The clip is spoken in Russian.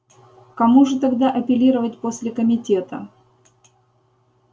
кому же тогда апеллировать после комитета